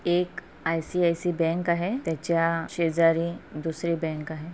एक ICICI. Bank आहै त्याच्या शेजारी दुसरी बँक आहै.